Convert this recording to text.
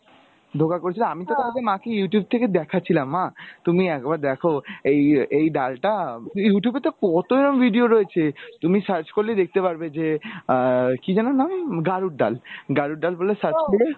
করেছিল আমি তো মাকে Youtube থেকে দেখাচ্ছিলাম মা তুমি একবার দেখো এই এই ডালটা Youtube এ তো কত এরম video রয়েছে তুমি search করলে দেখতে পারবে যে আহ কি যেন নাম গাড়ুর ডাল গাড়ুর ডাল বলে search করে